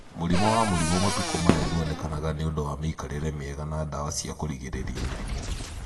Mũrĩmũ wa mũrimũ matukũ maya ndwonekaga nĩũndũ wa mĩikarĩre miega na ndawa cia kũrigĩrĩria mĩrimũ.